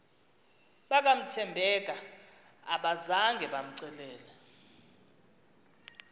bakathembeka abazanga bamcelele